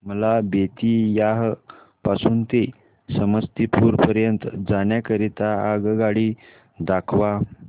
मला बेत्तीयाह पासून ते समस्तीपुर पर्यंत जाण्या करीता आगगाडी दाखवा